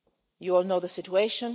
You all know the situation.